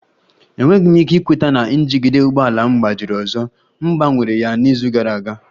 Enweghị m ike ikweta na njigide ụgbọ ala m gbajiri ọzọ, m gbanwere ya n'izu gara aga